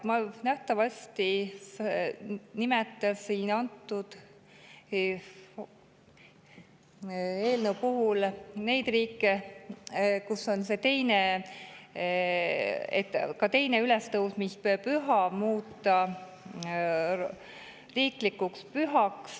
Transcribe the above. Ma nimetasin selle eelnõu puhul need riigid, kus on ka 2. ülestõusmispüha muudetud riigipühaks.